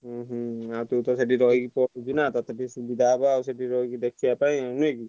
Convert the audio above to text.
ଉହୁଁ ଆଉ ତୁ ତ ସେଇଠି ରହିକି ତତେ ତ ସୁବିଧା ହବସେଠୀ ରହିକି ଦେଖିବା ପାଇଁ ନୁହେଁ କି?